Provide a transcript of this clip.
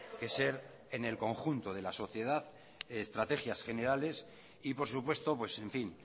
que ser en el conjunto de la sociedad estrategias generales y por supuesto pues en fin